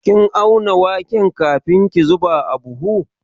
Kin auna waken kafin ki zuba a buhu?